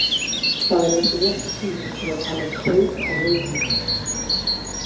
Það er ekki rétti tíminn til að tala um kaup á leikmönnum.